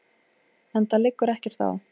Enda liggur ekkert á.